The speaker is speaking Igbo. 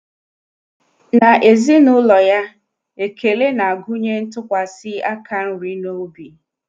N'ezinụlọ ya, ekele na-agụnye ịtụkwasị aka nri n'obi.